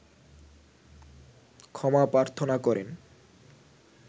ক্ষমা প্রার্থনা করেন